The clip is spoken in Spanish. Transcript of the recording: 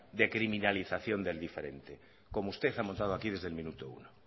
de criminalización del diferente como usted ha montado aquí desde el minuto uno